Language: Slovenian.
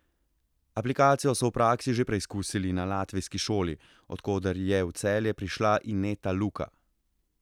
Aplikacijo so v praksi že preizkusili na latvijski šoli, od koder je v Celje prišla Ineta Luka.